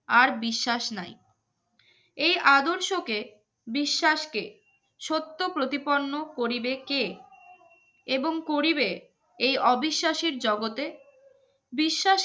আর বিশ্বাস নাই এই আদর্শকে বিশ্বাসকে সত্য প্রতিপন্ন করিবে কে এবং করিবে এই অবিশ্বাসের জগতে বিশ্বাস